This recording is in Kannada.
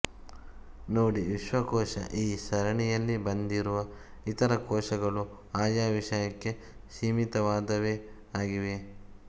ನೋಡಿ ವಿಶ್ವಕೋಶ ಈ ಸರಣಿಯಲ್ಲಿ ಬಂದಿರುವ ಇತರ ಕೋಶಗಳು ಆಯಾ ವಿಷಯಕ್ಕೆ ಸೀಮಿತವಾದವೇ ಆಗಿವೆ